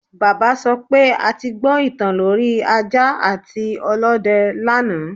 Bàbá sọ pé a ti gbọ ìtàn lorí ajá àti ọlọ́dẹ lánàá